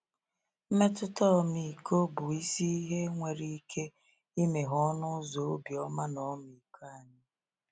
Mmetụta ọmịiko bụ isi ihe nwere ike imeghe ọnụ ụzọ obiọma na ọmịiko anyị.